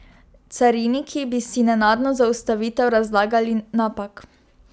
Cariniki bi si nenadno zaustavitev razlagali napak.